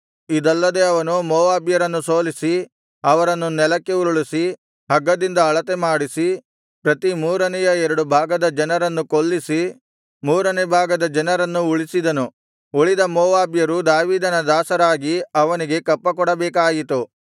ಇದಲ್ಲದೆ ಅವನು ಮೋವಾಬ್ಯರನ್ನು ಸೋಲಿಸಿ ಅವರನ್ನು ನೆಲಕ್ಕೆ ಉರುಳಿಸಿ ಹಗ್ಗದಿಂದ ಅಳತೆಮಾಡಿಸಿ ಪ್ರತಿ ಮೂರನೆಯ ಎರಡು ಭಾಗದ ಜನರನ್ನು ಕೊಲ್ಲಿಸಿ ಮೂರನೆ ಭಾಗದ ಜನರನ್ನು ಉಳಿಸಿದನು ಉಳಿದ ಮೋವಾಬ್ಯರು ದಾವೀದನ ದಾಸರಾಗಿ ಅವನಿಗೆ ಕಪ್ಪಕೊಡಬೇಕಾಯಿತು